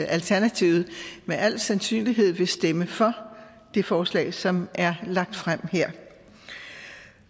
alternativet med al sandsynlighed vil stemme for det forslag som er lagt frem